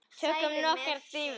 Tökum nokkrar dýfur!